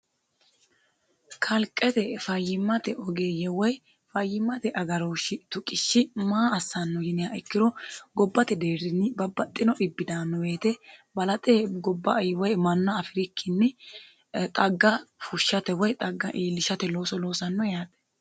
kalqete fayyimmate ogeeyye woy fayyimmate agarooshshi tuqishshi maa assanno yiniha ikkiro gobbate deerrinni babbaxxio dhibbi daano woyete balaxe gobba woy manna afirikkinni xagga fushshate woy xagga iillishate looso loosanno yaate.